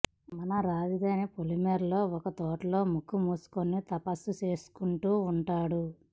మన రాజధాని పొలిమేరల్లో ఒక తోటలో ముక్కు మూసుకుని తపస్సు చేసుకుంటూ ఉంటాడు